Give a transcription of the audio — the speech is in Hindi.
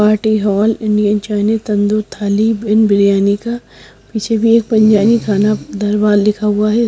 Party hall Indian Chinese tandoori thali इन बिरयानी का पीछे भी एक पंजाबी खाना दरबार लिखा हुआ हैं।